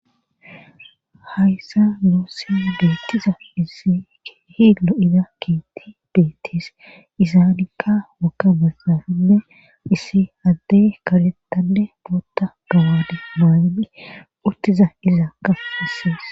hayssa nuussya geettiza issi keehilo7ida keetti beettis izaanikka wakka messafinne issi addey karettanne bootta gawadi maani uttiza izaak ka issaas